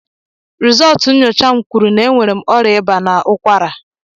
Rizultú nyocha m kwụrụ na enwere ọrịa ịba na ụkwara.